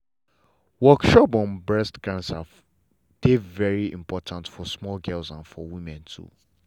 workshop on breast cancer dey very important for small girls and for women too.